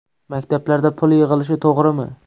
Maktablarda pul yig‘ilishi to‘g‘rimi?